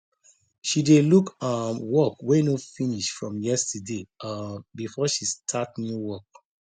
she dey look um work wey no finish from yesterday um before she start new work